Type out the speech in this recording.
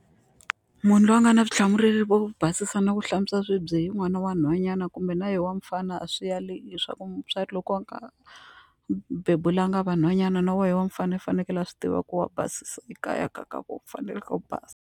Munhu loyi a nga na vutihlamuleri byo basisa no hlantswa swibye i n'wana wa nhwanyana kumbe na ye wa mfana a swi yali hileswaku mutswari loko a nga bebulaka vanhwanyana na wehe wa mi fanele u fanekele a swi tiva ku wa basisa ekaya ka ka vona fanele ku basa.